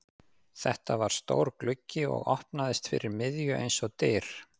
Þetta var stór gluggi og opnaðist fyrir miðju eins og dyr.